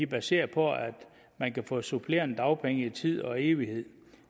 baseret på at man kan få supplerende dagpenge i tid og evighed